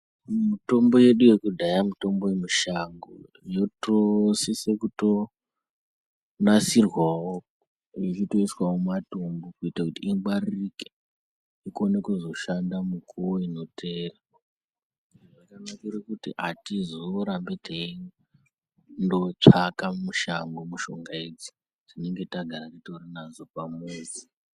Mitombo yedu yekudhaya mitombo yemushango yotosise kutonasirwawo yechitoiswawo mumatombo kuite kuti ingwaririke ikone kuzoshanda mikuwo inoteera zvinobhuye kuti atizorambi teindotsvake mushango mishonga idzi tinenge tagara titorinadzo pamuzi.